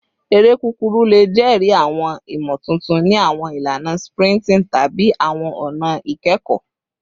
Ere kukuru le jẹri awọn imotuntun ni awọn ilana sprinting tabi awọn ọna ikẹkọ